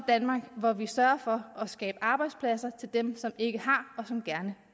danmark hvor vi sørger for at skabe arbejdspladser til dem som ikke har og som gerne